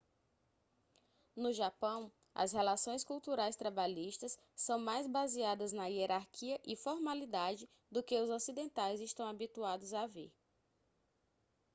no japão as relações culturais trabalhistas são mais baseadas na hierarquia e formalidade do que os ocidentais estão habituados a ver